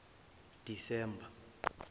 disemba